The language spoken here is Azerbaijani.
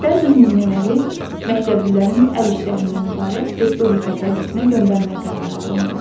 Bəzi nümunələri məktəblilərin əl işlərindən ibarət respublika sərgisinə göndərmək qərarı alındı.